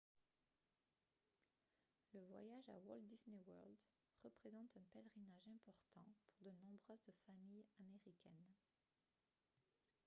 le voyage à walt disney world représente un pèlerinage important pour de nombreuses familles américaines